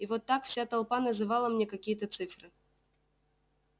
вот так вся толпа называла мне какие-то цифры